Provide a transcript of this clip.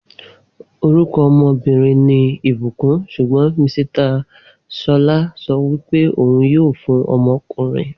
Orúkọ ọmọbìnrin ní ìbùkún sugbon Misita Ṣọlá sọ wípé òhun yíò fún ọmọkùnrin